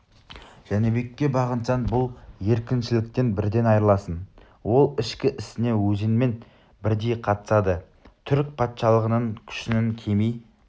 жәнібекке бағынсаң бұл еркіншіліктен бірден айрыласың ол ішкі ісіңе өзіңмен бірдей қатысады түрік патшалығының күшінің кеми